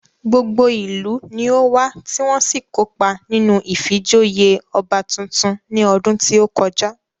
Gbogbo ìlú ni ówá tí wọ́n sì kópa nínú ìfijoyè ọba tuntun ní ọdún tí ó kọjá